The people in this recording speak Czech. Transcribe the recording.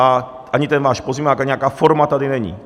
A ani ten váš pozměňovák, ani nějaká forma tady není.